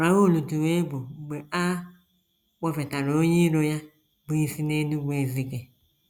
Raoul tụrụ egwu mgbe a kpọfetara onye iro ya bụ́ isi n’Enugu-Ezike.